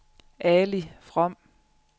Ali From